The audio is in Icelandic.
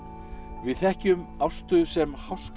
við þekkjum Ástu sem